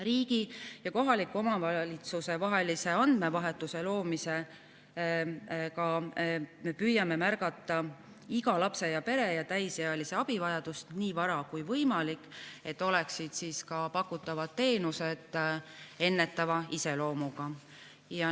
Riigi ja kohaliku omavalitsuse vahelise andmevahetuse loomisega me püüame märgata iga lapse, pere ja täisealise abivajadust nii vara kui võimalik, et ka pakutavad teenused oleksid ennetava iseloomuga.